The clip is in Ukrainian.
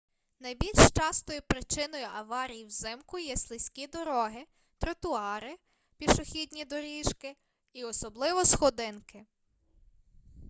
найбільш частою причиною аварій взимку є слизькі дороги тротуари пішохідні доріжки і особливо сходинки